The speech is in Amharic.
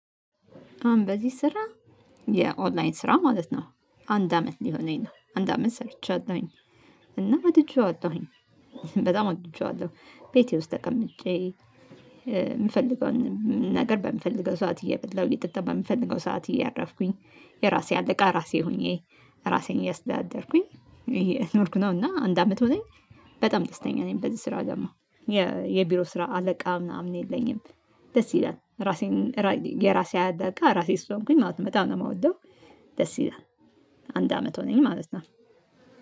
አሁን በዚህ ስራ የኦንላይን ስራ ማለት ነው። አንድ አመት ሊሆነኝ ነው አንድ አመት ሰርቻለሁኝ። እና ወድጄዋለሁኝ በጣም ወድጄዋለሁ። ቤቴ ውስጥ ተቀምጬ የምፈልገውን ነገር በምፈልገው ሰዓት እየበላሁ እየጠጣሁ በምፈልገው ሰዓት እያረፍኩኝ የራሴ አለቃ ራሴ ሆኜ ራሴን እያስደዳደርኩኝ እየኖርኩ ነው እና አንድ አመት ሆነኝ። በጣም ደስተኛ ነኝ በዚህ ስራ ደግሞ የቢሮ ስራ አለቃ ምናምን የለኝም። ደስ ይላል ራሴን የራሴ አለቃ ራሴ ስሆንኩኝ ማለት በጣም ነው የምወደው። ደስ ይላል። አንድ አመት ሆነኝ ማለት ነው።